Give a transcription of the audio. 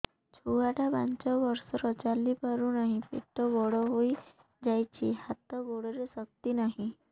ଛୁଆଟା ପାଞ୍ଚ ବର୍ଷର ଚାଲି ପାରୁ ନାହି ପେଟ ବଡ଼ ହୋଇ ଯାଇଛି ହାତ ଗୋଡ଼ରେ ଶକ୍ତି ନାହିଁ